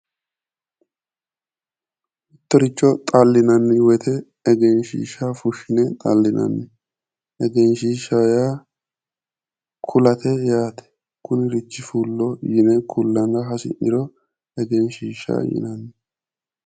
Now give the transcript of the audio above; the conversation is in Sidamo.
Mittoricho xallinanni wote egenshshiishshaho fushshine xallinanni wote egenshshiishshaho yaa kulate yaate kunirichi fullo yine kullara hasi'niro egenshshiishshaho yinanni.